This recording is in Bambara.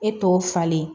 E t'o falen